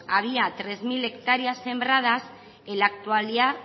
había tres mil hectáreas sembradas